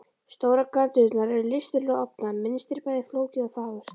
Stórar gardínurnar eru listilega ofnar, mynstrið bæði flókið og fagurt.